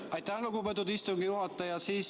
Aitäh, lugupeetud istungi juhataja!